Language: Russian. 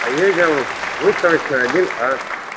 поедем выставочная один а